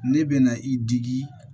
Ne bɛ na i digi